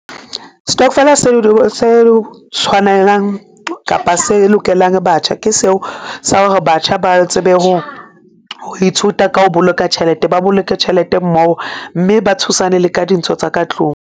Stokvel-a seo se tshwanelang kapa se lokelang batjha ke seo sa hore batjha ba tsebe ho ithuta ka o boloka tjhelete, ba boloke tjhelete mmoho mme ba thusane le ka dintho tsa ka tlung.